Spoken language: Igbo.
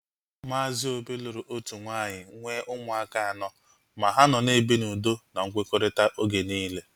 Maazi Obi lụrụ otu nwaanyị nwee ụmụaka anọ ma ha nọ na-ebi n'udo na nkwekọrịta oge niile